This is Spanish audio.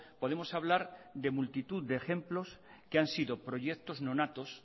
podemos hablar de multitud de ejemplos que han sido proyectos nonatos